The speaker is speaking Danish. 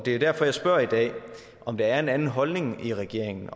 er derfor jeg spørger i dag om der er en anden holdning i regeringen